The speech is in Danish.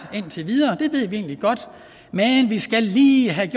indtil videre det ved vi egentlig godt men vi skal lige have